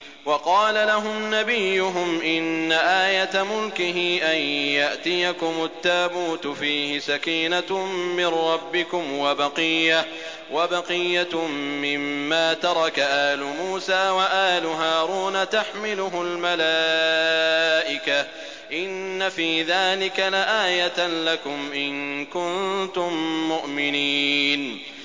وَقَالَ لَهُمْ نَبِيُّهُمْ إِنَّ آيَةَ مُلْكِهِ أَن يَأْتِيَكُمُ التَّابُوتُ فِيهِ سَكِينَةٌ مِّن رَّبِّكُمْ وَبَقِيَّةٌ مِّمَّا تَرَكَ آلُ مُوسَىٰ وَآلُ هَارُونَ تَحْمِلُهُ الْمَلَائِكَةُ ۚ إِنَّ فِي ذَٰلِكَ لَآيَةً لَّكُمْ إِن كُنتُم مُّؤْمِنِينَ